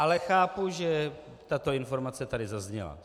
Ale chápu, že tato informace tady zazněla.